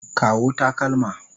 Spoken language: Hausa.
Kawo takalma.